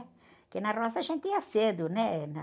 Porque na roça a gente ia cedo, né?